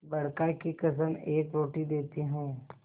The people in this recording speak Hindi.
बड़का की कसम एक रोटी देती हूँ